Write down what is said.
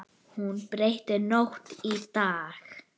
Hún breytti nótt í dag.